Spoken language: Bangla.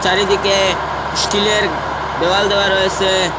চারিদিকে স্টিলের দেওয়াল দেওয়া রয়েসে ।